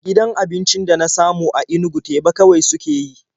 Gidan abincin da na samu a Inugu teba kawai suke yi.